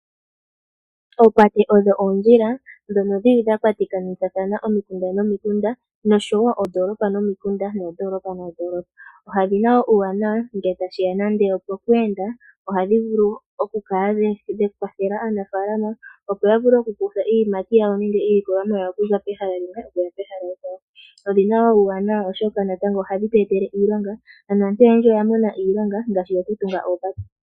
Oopate odho oondjila ndhono dhili dhakwatakanitha omikunda nomikunda noshowoo noondolopa nomikunda noondolopa noondolopa . Odhina uuwanawa ngele tashi ya poku enda. Ohadhi vulu okukwathela aanafaalama opo yavule okukutha iiyimati yawo nenge iilikolomwa yawo okuza pehala mpoka. Odhina wo uuwanawa oshoka natango ohadhi tu etele iilonga, ano aantu ohaya mono iilonga ngaashi yokutunga oopate.